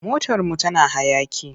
Motarmu tana hayaƙi.